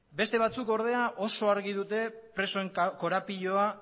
beste batzuk ordea oso argi dute presoen korapiloa